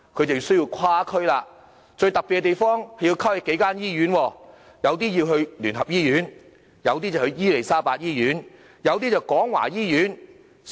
他們需要跨區，最特別之處，是要跨區到數間不同的醫院，有些前往基督教聯合醫院，有些前往伊利沙伯醫院，有些則是廣華醫院。